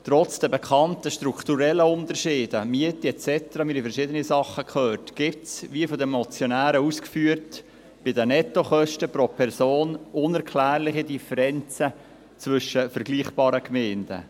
Trotz der bekannten strukturellen Unterschiede – Miete et cetera, wir haben verschiedene Sachen gehört – gibt es bei den Nettokosten pro Person, wie von den Motionären ausgeführt, unerklärliche Differenzen zwischen vergleichbaren Gemeinden.